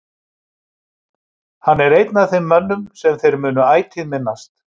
Hann er einn af þeim mönnum sem þeir munu ætíð minnast.